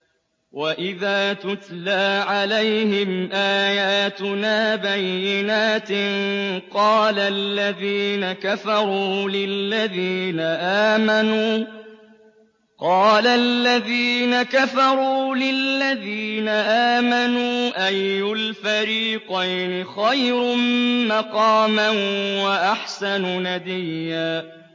وَإِذَا تُتْلَىٰ عَلَيْهِمْ آيَاتُنَا بَيِّنَاتٍ قَالَ الَّذِينَ كَفَرُوا لِلَّذِينَ آمَنُوا أَيُّ الْفَرِيقَيْنِ خَيْرٌ مَّقَامًا وَأَحْسَنُ نَدِيًّا